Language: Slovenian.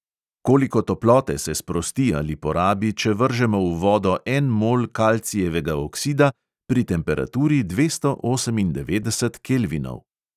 Koliko toplote se sprosti ali porabi, če vržemo v vodo en mol kalcijevega oksida pri temperaturi dvesto osemindevetdesetih kelvinov?